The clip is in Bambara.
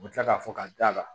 U bɛ tila k'a fɔ ka da la